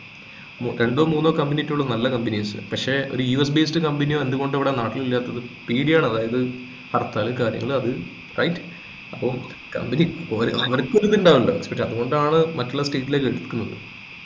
രണ്ടോ മൂന്നോ company ഒക്കെ ഉള്ളൂ നല്ല companies പക്ഷെ ഒരു യു എസ് based company എന്തുകൊണ്ട് ഇവിടെ നാട്ടിലില്ലാത്തത് പേടിയാണ് അതായത് ഹർത്താൽ കാര്യങ്ങൾ അത് right അപ്പൊ company പോരാ അവരിക്ക് ഒരു ഇതുണ്ടാക്കണ്ടേ പിന്ന അത്കൊണ്ടാണ് മറ്റുള്ള state ലേക്ക് കൊടുക്കുന്നത്